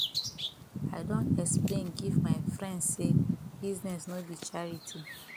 i don explain give my friends sey business no be charity